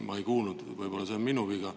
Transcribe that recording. Ma ei kuulnud seda, võib-olla oli see minu viga.